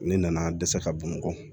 Ne nana dɛsɛ ka bɔn